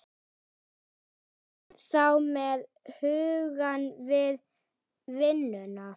Er hún þá með hugann við vinnuna?